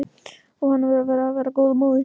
Og að henni ber að vera henni góð móðir.